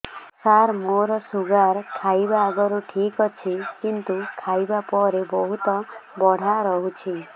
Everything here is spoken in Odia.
ସାର ମୋର ଶୁଗାର ଖାଇବା ଆଗରୁ ଠିକ ଅଛି କିନ୍ତୁ ଖାଇବା ପରେ ବହୁତ ବଢ଼ା ରହୁଛି